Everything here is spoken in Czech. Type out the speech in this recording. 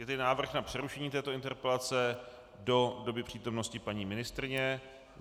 Je tedy návrh na přerušení této interpelace do doby přítomnosti paní ministryně.